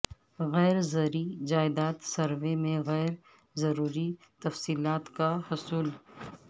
غیر زرعی جائیداد سروے میں غیر ضروری تفصیلات کا حصول